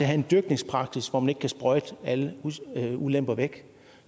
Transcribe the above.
have en dyrkningspraksis hvor man ikke kan sprøjte alle ulemper væk